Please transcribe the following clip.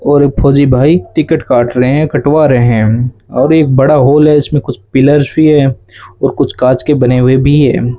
और फौजी भाई टिकट काट रहे है और कटवा रहे है और एक बड़ा हॉल है इसमें कुछ पिलर्स भी है और कुछ कांच के बने हुए भी है।